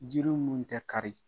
Jiri minnu tɛ kari